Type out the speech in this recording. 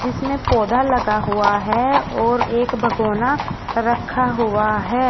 इसमें पौधा लगा हुआ है और एक भगोना रखा हुआ है।